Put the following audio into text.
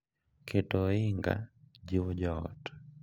Keto ohinga jiwo jo ot